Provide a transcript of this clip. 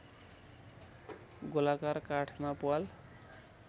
गोलाकार काठमा प्वाल